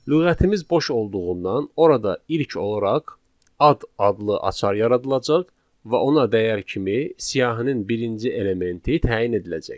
Lüğətimiz boş olduğundan orada ilk olaraq ad adlı açar yaradılacaq və ona dəyər kimi siyahının birinci elementi təyin ediləcək.